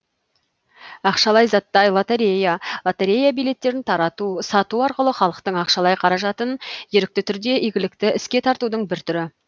ақшалай заттай лотерея лотерея билеттерін тарату сату арқылы халықтың ақшалай қаражатын ерікті түрде игілікті іске тартудың бір түрі